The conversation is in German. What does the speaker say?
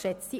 der BiK.